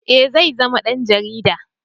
Eh zai zama dan jarida